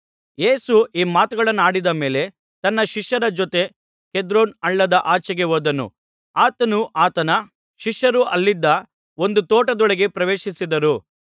ಯೇಸು ಈ ಮಾತುಗಳನ್ನಾಡಿದ ಮೇಲೆ ತನ್ನ ಶಿಷ್ಯರ ಜೊತೆ ಕೆದ್ರೋನ್ ಹಳ್ಳದ ಆಚೆಗೆ ಹೋದನು ಆತನೂ ಆತನ ಶಿಷ್ಯರೂ ಅಲ್ಲಿದ್ದ ಒಂದು ತೋಟದೊಳಗೆ ಪ್ರವೇಶಿಸಿದರು